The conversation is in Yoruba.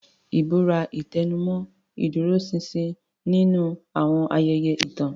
Ìbúra tẹnumọ́ ìdúróṣinṣin nínú àwọn ayẹyẹ ìtàn.